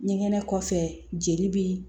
Ɲɛgɛnɛ kɔfɛ jeli be